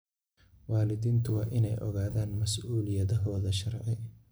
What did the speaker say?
Waalidiintu waa inay ogaadaan mas'uuliyadahooda sharci.